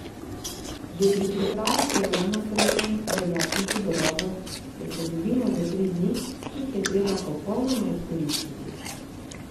Že pri pripravi programa srečanj velja tihi dogovor, da se dobimo za tri dni, ki jih je treba popolnoma izkoristiti.